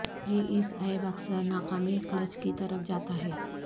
یہ اس عیب اکثر ناکامی کلچ کی طرف جاتا ہے